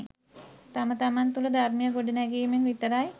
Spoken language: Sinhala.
තම තමන් තුළ ධර්මය ගොඩනැගීමෙන් විතරයි.